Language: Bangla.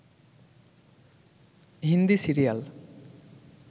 হিন্দি সিরিয়াল